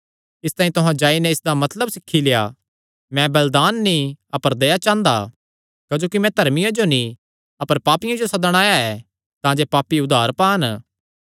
इसतांई तुहां जाई नैं इसदा मतलब सीखी लेआ मैं बलिदान नीं अपर दया चांह़दा क्जोकि मैं धर्मियां जो नीं अपर पापियां जो सदणा आया ऐ तांजे पापी उद्धार पान